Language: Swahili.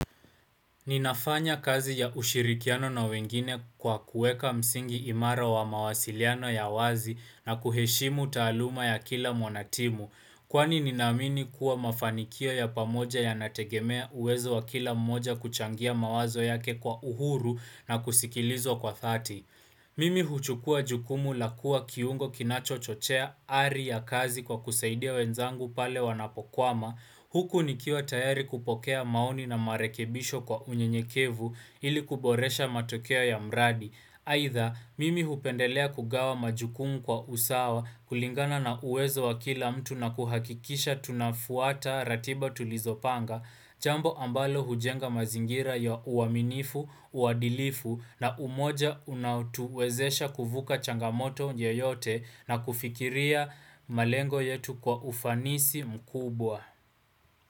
Ninafanya kazi ya ushirikiano na wengine kwa kuweka msingi imara wa mawasiliano ya wazi na kuheshimu taaluma ya kila mwanatimu. Kwani ninaamini kuwa mafanikio ya pamoja yanategemea uwezo wa kila mmoja kuchangia mawazo yake kwa uhuru na kusikilizwa kwa dhati. Mimi huchukua jukumu la kuwa kiungo kinachochochea ari ya kazi kwa kusaidia wenzangu pale wanapokwama. Huku nikiwa tayari kupokea maoni na marekebisho kwa unyenyekevu ili kuboresha matokea ya mradi. Aidha, mimi hupendelea kugawa majukumu kwa usawa kulingana na uwezo wa kila mtu na kuhakikisha tunafuata ratiba tulizopanga Jambo ambalo hujenga mazingira ya uaminifu, uadilifu, na umoja unaotuwezesha kuvuka changamoto yoyote na kufikiria malengo yetu kwa ufanisi mkubwa.